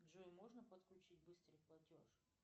джой можно подключить быстрый платеж